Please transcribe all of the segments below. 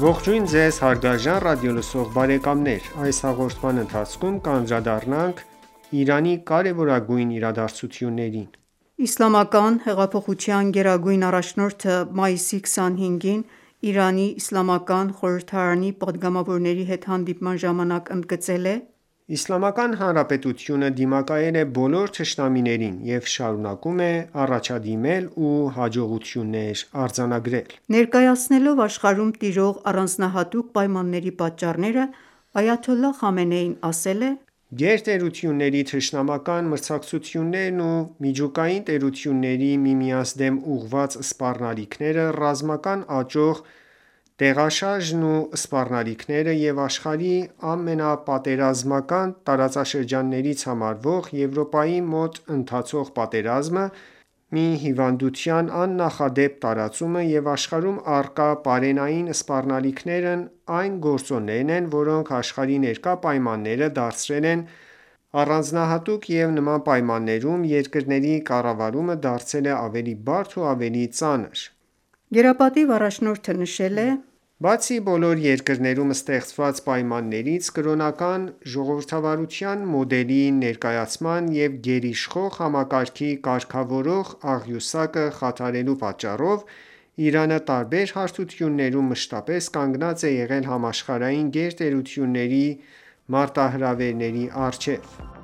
Ողջույն Ձեզ հարգարժան ռադիոլսող բարեկամներ: Այս հաղորդման ընթացքում կանդրադառնանք Իրանի կարևորագույն իրադարձություններին: Իսլամական հեղափոխության գերագույն առաջնորդը մայիսի 25-ին Իրանի իսլամական խորհրդարանի պատգամավորների հետ հանդիպման ժամանակ ընդգծել է.«Իսլամական Հանրապետությունը դիմակայել է բոլոր թշնամություններին և շարունակում է առաջադիմել ու հաջողություններ արձանագրել»: Ներկայացնելով աշխարհում տիրող առանձնահատուկ պայմանների պատճառները, Այաթոլլահ Խամենեին ասել է. «Գերտերությունների թշնամական մրցակցություններն ու միջուկային տերությունների միմյանց դեմ ուղղված սպառնալիքները, ռազմական աճող տեղաշարժերն ու սպառնալիքները և աշխարհի ամենապատերազմական տարածաշրջաններից համարվող Եվրոպայի մոտ ընթացող պատերազմը, մի հիվանդության աննախադեպ տարածումը և աշխարհում առկա պարենային սպառնալիքներն այն գործոններն են, որոնք աշխարհի ներկա պայմանները դարձրել են առանձնահատուկ, և նման պայմաններում երկրների կառավարումը դարձել է ավելի բարդ ու ավելի ծանր»: «Բացի բոլոր երկրներում ստեղծված պայմաններից, կրոնական ժողովրդավարության մոդելի ներկայացման և գերիշխող համակարգի կարգավորող աղյուսակը խաթարելու պատճառով, Իրանը տարբեր հարթություններում մշտապես կանգնած է եղել համաշխարհային գերտերությունների մարտահրավերի առջև»,- նշել է գերապատիվ առաջնորդը։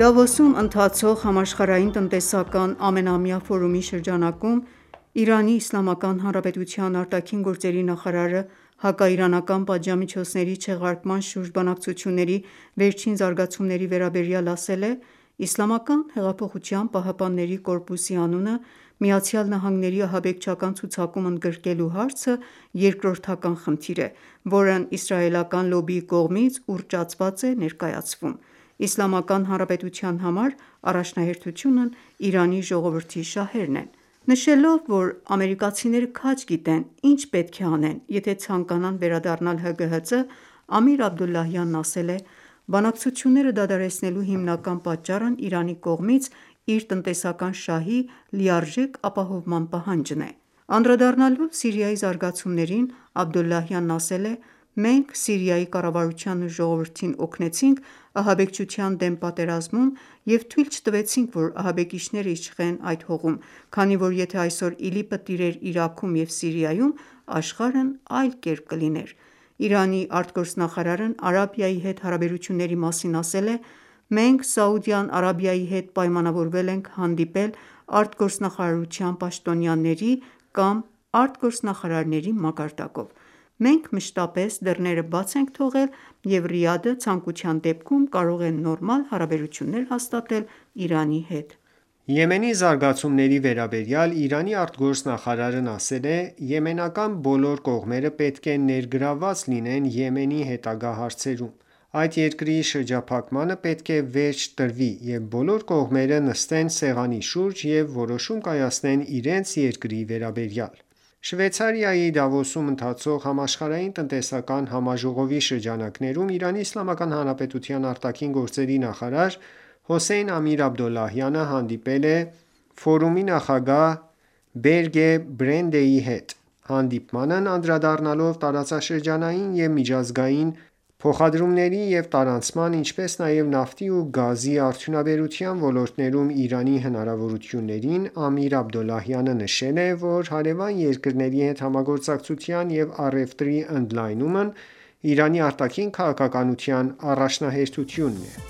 Դավոսում ընթացող Համաշխարհային տնտեսական ամենամյա ֆորումի շրջանակում ԻԻՀ ԱԳ նախարարը հակաիրանական պատժամիջոցների չեղարկման շուրջ բանակցությունների վերջին զարգացումների վերաբերյալ ասել է.«Իսլամական հեղափոխության պահապանների կորպուսի անունն ԱՄՆ-ի ահաբեկչական ցուցակում ընդգրկելու հարցը երկրորդական խնդիր է, որն իսրայելական լոբբիի կողմից ուռճացված է ներկայացվում: Իսլամական Հանրապետության համար առաջնահերթությունն Իրանի ժողովրդի շահերն են»: Նշելով, որ ամերիկացիները քաջ գիտեն, ինչ պետք է անեն, եթե ցանկանան վերադառնալ ՀԳՀԾ, Ամիր Աբդոլլահյանն ասել է. «Բանակցությունները դադարեցնելու հիմնական պատճառն Իրանի կողմից իր տնետսական շահի լիարժեք ապահոման պահանջն է»: Անդրադառնալով Սիրիայի զարգացումներին, Աբդոլլահյանն ասել է. «Մենք Սիրիայի կառավարությանն ու ժողովրդին օգնեցինք ահաբեկչության դեմ պատերազմում և թույլ չտվեցինք, որ ահաբեկիչները իշխեն այդ հողում, քանի որ եթե այսօր ԻԼԻՊ-ը տիրեր Իրաքում և Սիրիայում, աշխարհն այլ կերպ կլիներ»։ Իրանի ԱԳ նախարարն Արաբիայի հետ հարաբերությունների մասին ասել է.«Մենք Սաուդյան Արաբիայի հետ պայմանավորվել ենք հանդիպել արտգործնախարարության պաշտոնյաների կամ արտգործնախարարների մակարդակով։ Մենք մշտապես դռները բաց ենք թողել, և Ռիադը ցանկության դեպքում կարող է նորմալ հարաբերություններ հասատատել Իրանի հետ»։ Եմենի զարգացումների վերաբերյալ Իրանի արտգործնախարարն ասել է.«Եմենական բոլոր կողմերը պետք է ներգրավված լինեն Եմենի հետագա հարցերում: Այդ երկրի շրջափակմանը պետք է վերջ տրվի, և բոլոր կողմերը նստեն սեղանի շուրջ և որոշում կայացնեն իրենց երկրի վերաբերյալ»։ Շվեյցարիայի Դավոսում ընթացող Համաշխարհային տնտեսական համաժողովի շրջանակներում, ԻԻՀ ԱԳ նախարար Հոսեյն Ամիր Աբդոլլահյանը հանդիպել է ֆորումի նախագահ Բորգե Բրենդեի հետ: Հանդիպմանն անդրադառնալով տարածաշրջանային և միջազգային փոխադրումների և տարանցման, ինչպես նաև նավթի և գազի արդյունաբերության ոլորտներում Իրանի հնարավորություններին, Ամիր Աբդոլլահյանը նշել է, որ հարևան երկրների հետ համագործակցության և առևտրի ընդլայնումն ԻԻՀ արտաքին քաղաքականության առաջնահերթությունն է։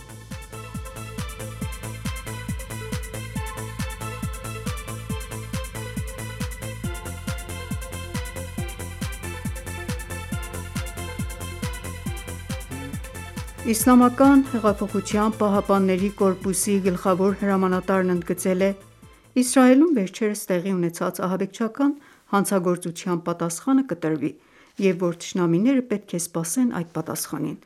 Իսլամական հեղափոխության պահապանների կորպուսի գլխավոր հրամանատարն ընդգծել է, որ Իսրայելում վերջերս տեղի ունեցած ահաբեկչական հանցագործության պատասխանը կտրվի, և որ թշնամիները պետք է սպասեն այդ պատասխանին։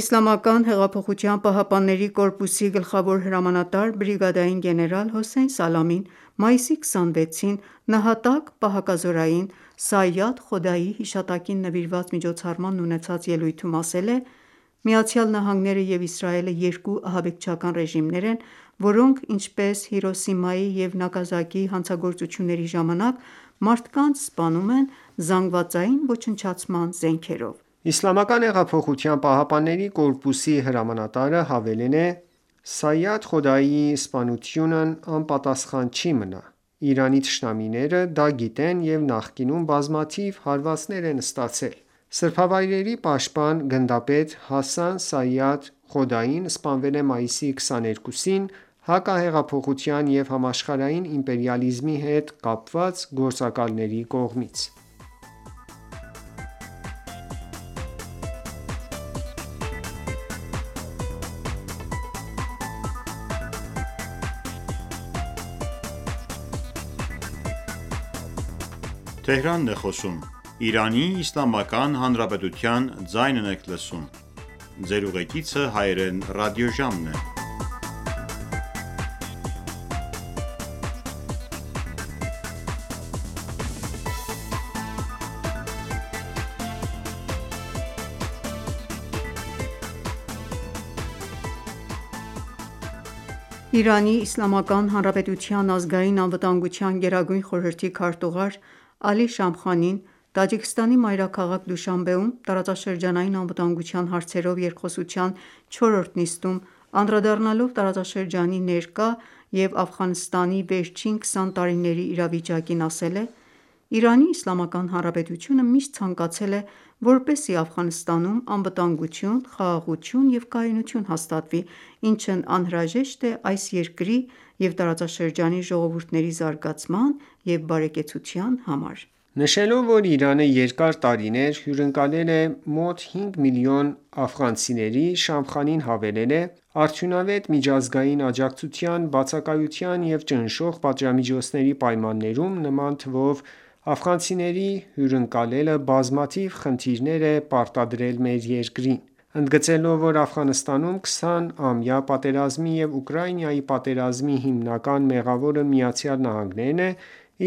Իսլամական հեղափոխության պահապանների կորպուսի գլխավոր հրամանատար, բրիգադի գեներալ Հոսեյն Սալամին մայիսի 26-ին նահատակ պահակազորային՝ Սայադ Խոդայիի հիշատակին նվիրված միջոցառմանն ունեցած ելույթում ասել է․ «Միացյալ Նահանգները և Իսրայելը երկու ահաբեկչական ռեժիմներ են, որոնք, ինչպես Հիրոսիմայի և Նագասակիի հանցագործությունների ժամանակ, մարդկանց սպանում են զանգվածային ոչնչացման զենքերով»։ ԻՀՊԿ-ի հրամանատարը հավելել է.«Սայադ Խոդայիի սպանությունն անպատասխան չի մնա: Իրանի թշնամիները դա գիտեն և նախկինում բազմաթիվ հարվածներ են ստացել»: Սրբավայրերի պաշտպան, գնդապետ Հասան Սայադ Խոդային սպանվել է մայիսի 22-ին՝ հակահեղափոխության և համաշխարհային իմպերիալիզմի հետ կապված գործակալների կողմից։ Իրանի Իսլամական Հանրապետության ազգային անվտանգության գերագույն խորհրդի քարտուղար Ալի Շամխանին Տաջիկստանի մայրաքաղաք Դուշանբեում տարածաշրջանային անվտանգության հարցերով երկխոսության չորրորդ նիստում անդրադառնալով տարածաշրջանի ներկա և Աֆղանստանի վերջին 20 տարիների իրավիճակին, ասել է. «Իրանի Իսլամական Հանրապետությունը միշտ ցանկացել է, որպեսզի Աֆղանստանում անվտանգություն, խաղաղություն և կայունություն հաստատվի, ինչն անհրաժեշտ է այս երկրի և տարածաշրջանի ժողովուրդների զարգացման և բարեկեցության համար»: Նշելով, որ Իրանը երկար տարիներ հյուրընկալել է մոտ հինգ միլիոն աֆղանցիների, Շամխանին հավելել է․ «Արդյունավետ միջազգային աջակցության բացակայության և ճնշող պատժամիջոցների պայմաններում նման թվով աֆղանցիների հյուրընկալելը բազմաթիվ խնդիրներ է պարտադրել մեր երկրին»: Ընդգծելով, որ Աֆղանստանում 20-ամյա պատերազմի և Ուկրաինայի պատերազմի հիմնական մեղավորն ԱՄՆ-ն է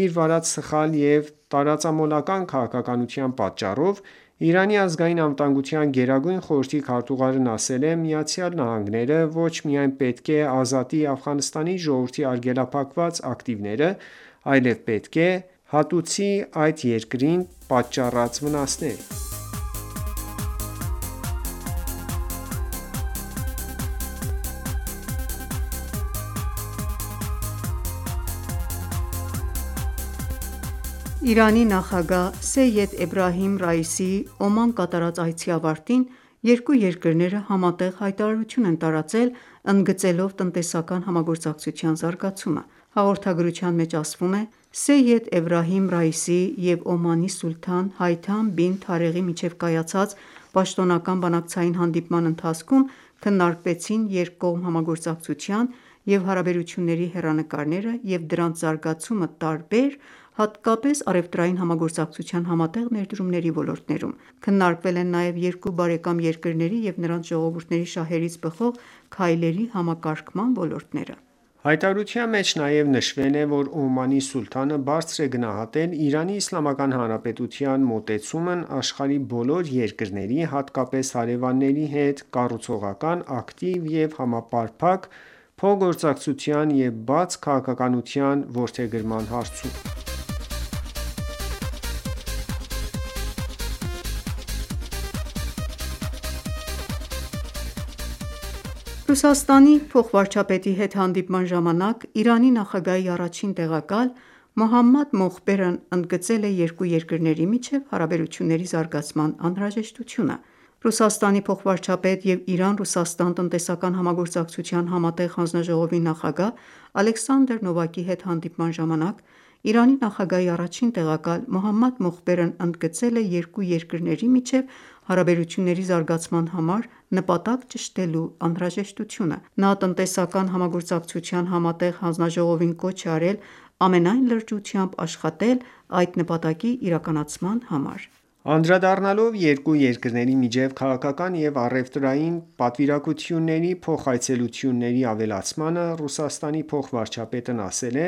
իր վարած սխալ և տարածամոլական ​​քաղաքականության պատճառով, Իրանի ազգային անվտանգության գերագույն խորհրդի քարտուղարն ասել է, որ ԱՄՆ-ն ոչ միայն պետք է ազատի Աֆղանստանի ժողովրդի արգելափակված ակիտվները, այլև պետք է հատուցի այդ երկրին պատաճառած վնասները։ Իրանի նախագահ Սեյեդ Էբրահիմ Ռայիսիի Օման կատարած այցի ավարտին, երկու երկրները համատեղ հայտարարություն են տարածել՝ ընդգծելով տնտեսական համագործակցության զարգացումը։ Հաղորդագրության մեջ ասվում է. «Սեյեդ Էբրահիմ Ռայիսիի և Օմանի սուլթան Հայթամ բին Թարեղի միջև կայացած պաշտոնական բանակցային հանդիպման ընթացքում քննարկվեցին երկկողմ համագործակցության և հարաբերությունների հեռանկարները և դրանց զարգացումը՝ տարբեր, հատկապես առևտրային համագործակցության համատեղ ներդրումների ոլորտներում: Քննարկվել են նաև երկու բարեկամ երկրների և նրանց ժողովուրդների շահերից բխող քայլերի համակարգման ոլորտները»։ Հայտարարության մեջ նաև նշվել է, որ Օմանի սուլթանը բարձր է գնահատել Իրանի Իսլամական Հանրապետության մոտեցումն՝ աշխարհի բոլոր երկրների, հատկապես հարևանների հետ կառուցողական, ակտիվ և համապարփակ փոխգործակցության և բաց քաղաքականության որդեգրման հարցում: Ռուսաստանի փոխվարչապետի հետ հանդիպման ժամանակ, Իրանի նախագահի առաջին տեղակալ Մոհամմադ Մոխբերն ընդգծել է երկու երկրների միջև հարաբերությունների զարգացման անհրաժեշտությունը։ Ռուսաստանի փոխվարչապետ և Իրան-Ռուսաստան տնտեսական համագործակցության համատեղ հանձնաժողովի նախագահ Ալեքսանդր Նովակի հետ հանդիպման ժամանակ, Իրանի նախագահի առաջին տեղակալ Մոհամմադ Մոխբերն ընդգծել է երկու երկրների միջև հարաբերությունների զարգացման համար նպատակ ճշտելու անհրաժեշտությունը։ Նա Տնտեսական համագործակցության համատեղ հանձնաժողովին կոչ է արել ամենայն լրջությամբ աշխատել այդ նպատակի իրականացման համար։ Անդրադառնալով երկու երկրների միջև քաղաքական և առևտրային պատվիրակությունների փոխայցելությունների ավելացմանը՝ ՌԴ փոխվարչապետն ասել է.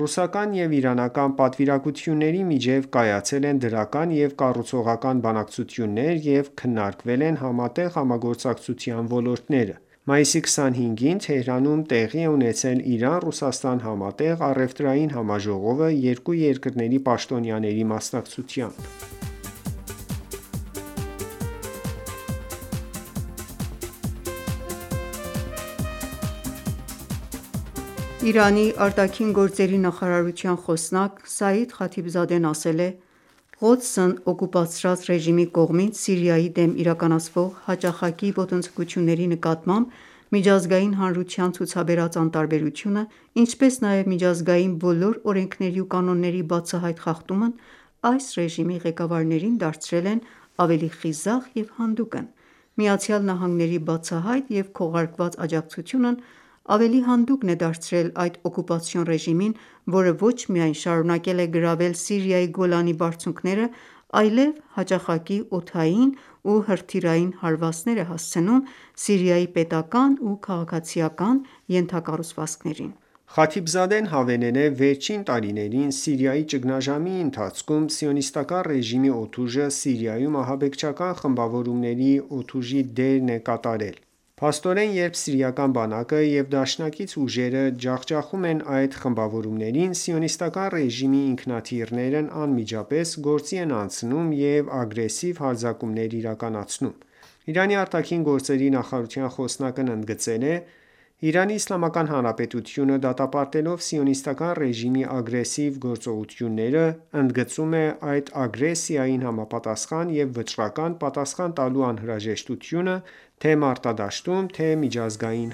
«Ռուսական և իրանական պատվիրակությունների միջև կայացել են դրական և կառուցողական բանակցություններ, և քննարկվել են համատեղ համագործակցության ոլորտները»։ Մայիսի 25-ին, Թեհրանում տեղի է ունեցել Իրան-Ռուսաստան համատեղ առևտրային համաժողովը՝ երկու երկրների պաշտոնյաների մասնակցությամբ։ Իրանի արտաքին գործերի նախարարության խոսնակ Սաիդ Խաթիբզադեն ասել է. «Ղոդսն օկուպացրած ռեժիմի կողմից Սիրիայի դեմ իրականացվող հաճախակի ոտնձգությունների նկատմամբ միջազգային հանրության ցուցաբերած անտարբերությունը, ինչպես նաև միջազգային բոլոր օրենքների ու կանոնների բացահայտ խախտումն այս ռեժիմի ղեկավարներին դարձրել են ավելի խիզախ և հանդուգն»: Միացյալ Նահանգների բացահայտ և քողարկված աջակցությունն ավելի հանդուգն է դարձրել այդ օկուպացիոն ռեժիմին, որը ոչ միայն շարունակել է գրավել Սիրիայի Գոլանի բարձունքները, այլև հաճախակի օդային ու հրթիռային հարվածներ է հասցնում Սիրիայի պետական ու քաղաքացիական ենթակառուցվածքներին։ Խաթիբզադեն հավելել է. «Վերջին տարիներին՝ Սիրիայի ճգնաժամի ընթացքում, Սիոնիստական ​​ռեժիմի օդուժը Սիրիայում ահաբեկչական խմբավորումների օդուժի դերն է կատարել: Փաստորեն երբ սիրիական բանակը և դաշնակից ուժերը ջախջախում են այդ խմբավորումներին, Սիոնիստական ​​ռեժիմի ինքնաթիռներն անմիջապես գործի են անցնում եւ ագրեսիվ հարձակումներ իրականացնում»: Իրանի արտաքին գործերի նախարարության խոսնակն ընդգծել է.«Իրանի Իսլամական Հանրապետությունը, դատապարտելով Սիոնիստական ​​ռեժիմի ագրեսիվ գործողությունները, ընդգծում է այդ ագրեսիյին համապատասխան և վճռական պատասխան տալու անհրաժեշտությունը թե՛ մարտադաշտում, թե՛ միջազգային